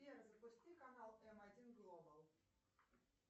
сбер запусти канал эм один глобал